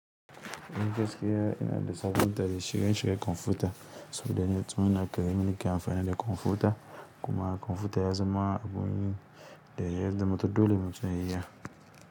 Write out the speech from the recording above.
Ni gaskiya ina da sabunta da shige-shigen kwamfuta saboda yana da yadda yake amfani da kwamfuta kuma kwamfuta yaza ma abu wani da yazama ta dole matum ya iya.